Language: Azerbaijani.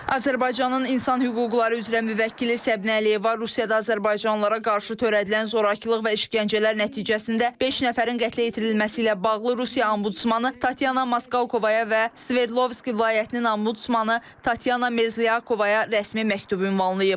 Azərbaycanın insan hüquqları üzrə müvəkkili Səbinə Əliyeva Rusiyada azərbaycanlılara qarşı törədilən zorakılıq və işgəncələr nəticəsində beş nəfərin qətlə yetirilməsi ilə bağlı Rusiya ombudsmanı Tatyana Moskovaya və Sverdlovski vilayətinin ombudsmanı Tatyana Mirziyakovaya rəsmi məktub ünvanlayıb.